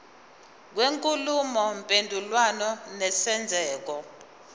kwenkulumo mpendulwano nesenzeko